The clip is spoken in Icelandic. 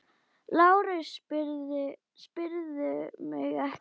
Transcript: LÁRUS: Spyrðu mig ekki!